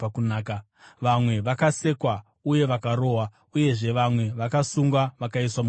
Vamwe vakasekwa uye vakarohwa, uyezve vamwe vakasungwa vakaiswa mutorongo.